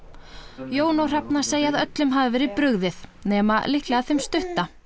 Jón og Hrefna segja að öllum hafi verið brugðið nema líklega þeim stutta